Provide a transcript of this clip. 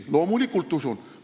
Loomulikult usun!